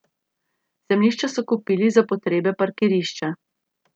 Zemljišča so kupili za potrebe parkirišča.